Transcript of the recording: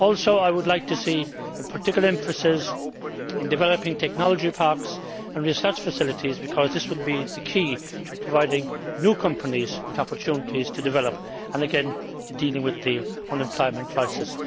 I would also like to see a particular emphasis on developing technology parks and research facilities, because this will be the key to providing new companies with opportunities to develop and to dealing with the unemployment crisis.